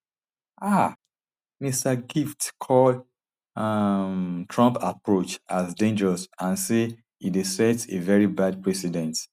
um mr gift call um trump approach as dangerous and say e dey sets a veri bad precedent